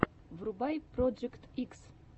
врубай проджект икс